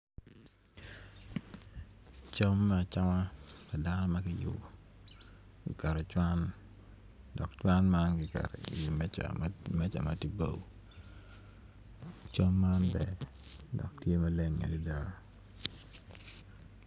Cam me acama pa dano ma kiyubo kiketo i cwan dok cwan man kiketo iwi meca matye bao cam man ber dok tye maleng adada